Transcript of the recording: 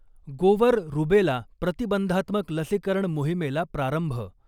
गोवर रुबेला प्रतिबंधात्मक लसीकरण मोहिमेला प्रारंभ.